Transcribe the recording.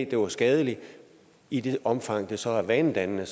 det var skadeligt i det omfang det så er vanedannende